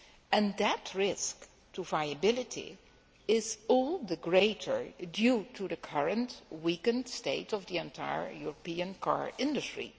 and that risk to viability is all the greater due to the current weakened state of the entire European car industry.